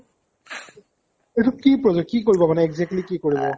এইটো কি project কি কৰিব মানে exactly কি কৰিব?